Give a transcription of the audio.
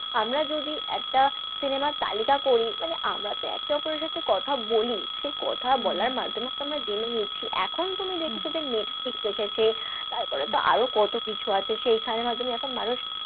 আমরা যদি একটা cinema র তালিকা করি মানে আমরা তো এক অপরের সাথে কথা বলি, সেই কথা বলার মাধ্যমে তো আমরা জেনে নিচ্ছি, এখন তুমি দেখছ যে নেটফ্লিক্স এসেছে তারপরে তো আরও কত কিছু আছে সেইখানের মাধ্যমে এখন মানুষ,